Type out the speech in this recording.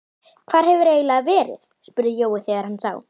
Hvar hefurðu eiginlega verið? spurði Jói þegar hann sá